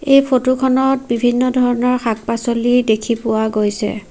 এই ফটো খনত বিভিন্ন ধৰণৰ শাক-পাছলি দেখি পোৱা গৈছে।